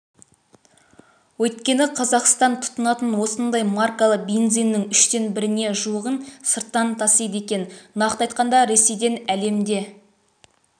өйткені қазақстан тұтынатын осындай маркалы бензиннің үштен біріне жуығын сырттан тасиды екен нақты айтқанда ресейден әлемде